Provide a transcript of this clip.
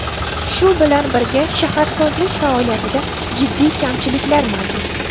Shu bilan birga shaharsozlik faoliyatida jiddiy kamchiliklar mavjud.